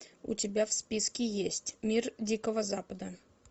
у тебя в списке есть мир дикого запада